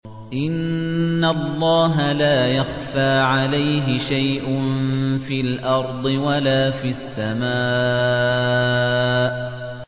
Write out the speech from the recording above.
إِنَّ اللَّهَ لَا يَخْفَىٰ عَلَيْهِ شَيْءٌ فِي الْأَرْضِ وَلَا فِي السَّمَاءِ